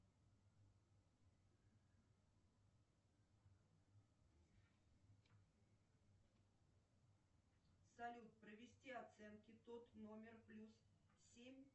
салют провести оценки тот номер плюс семь